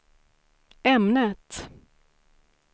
ämnet